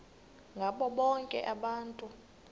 ngabo bonke abantu